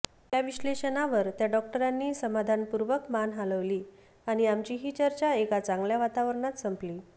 या विश्लेषणावर त्या डॉक्टरांनी समाधानपूर्वक मान हलवली आणि आमची ही चर्चा एका चांगल्या वातावरणात संपली